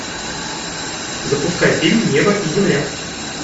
запускай фильм небо и земля